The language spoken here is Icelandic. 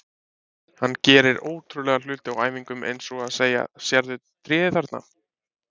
Hann gerir ótrúlega hluti á æfingum eins og að segja: Sérðu tréð þarna?